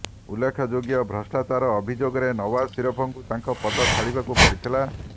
ଉଲ୍ଲେଖଯୋଗ୍ୟ ଭ୍ରଷ୍ଟାଚାର ଅଭିଯୋଗରେ ନଓ୍ବାଜ ସରିଫଙ୍କୁ ତାଙ୍କ ପଦ ଛାଡ଼ିବାକୁ ପଡ଼ିଥିଲା